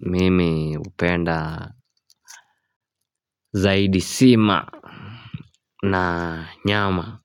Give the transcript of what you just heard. Mimi hupenda zaidi sima na nyama